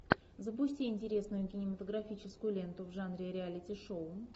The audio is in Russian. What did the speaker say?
запусти интересную кинематографическую ленту в жанре реалити шоу